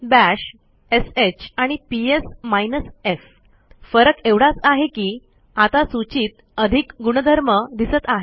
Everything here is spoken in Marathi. बाश श आणि पीएस माइनस एफ फरक एवढाच आहे की आता सूचीत अधिक गुणधर्म दिसत आहेत